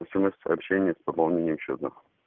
смс-сообщение с пополнением счета